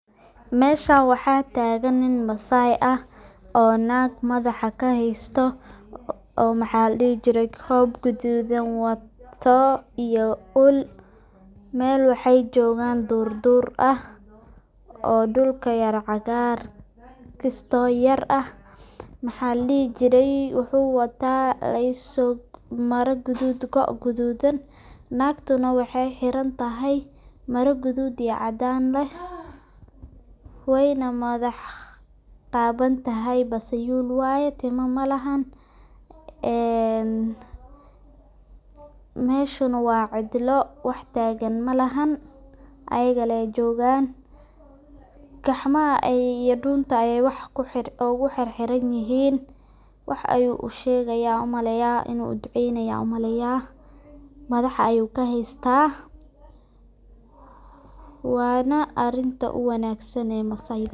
Meshan waxa tagan nin masai ah oo nag madaxa kaheysto oo maxa ladihi jire kob gadudhan wato iyo uul. Mel waxey jogan durdur ah oo dhulka yara cagaar ah kisto yar ah waxa ladihi jire wuxu wataa mara gadud goc gadudan , nagtuna waxey xirantahay mara gadud iyo cadan ah ,weyna madax qawan tahay basa dir waye oo timo malehan. Meshuna waa cidlo wax tagan malahan ayaga lee jogan, gacmaha iyo dunta ayey wax ogu xirxiran yihin wax ayu u shegaya ayan umaleya, inu u duceynaya ayan u maleya madaxa ayuna kaheysta ,waana arinta u wanagsan ee masayda.